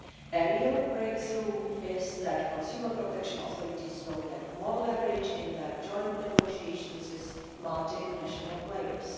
A real breakthrough is that consumer protection authorities will get more leverage in their joint negotiations with multinational players.